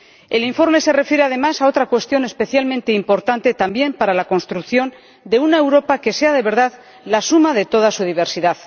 El informe se refiere, además, a otra cuestión especialmente importante también para la construcción de una Europa que sea de verdad la suma de toda su diversidad.